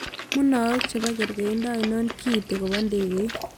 Munaok che po kergeindo ainon kiiti ko po ndegeit